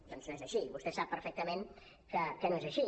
doncs no és així vostè sap perfectament que no és així